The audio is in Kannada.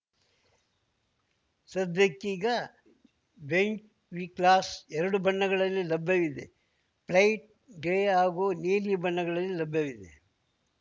ಸದ್ಯಕ್ಕೀಗ ಬೆಂಝ್‌ ವಿಕ್ಲಾಸ್‌ ಎರಡು ಬಣ್ಣಗಳಲ್ಲಿ ಲಭ್ಯವಿದೆ ಬ್ರೈಟ್‌ ಗ್ರೇ ಹಾಗೂ ನೀಲಿ ಬಣ್ಣಗಳಲ್ಲಿ ಲಭ್ಯವಿದೆ